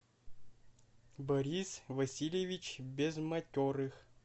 борис васильевич безматерых